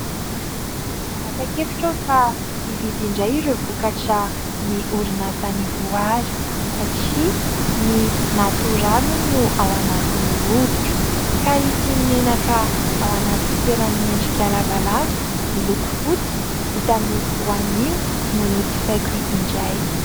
Nanapa- kevitra aho fa hividy indray ireo vokatra an' ny orinasa Ny Voary, satria ny natoraly hono no ao anatin'ny hoditro. Ka ity menaka ao anaty fitoerany miendrika lavalava miloko fotsy vita amin'ny voanio no nojifaiko indray.